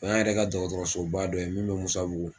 O y'an yɛrɛ ka dɔgɔtɔrɔsoba dɔ ye min bɛ Musabugu